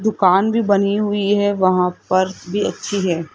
दुकान भी बनी हुई है वहां फर्श भी अच्छी है।